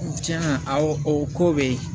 Tiɲɛna aw o ko bɛ ye